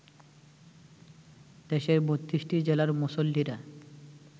দেশের ৩২টি জেলার মুসল্লিরা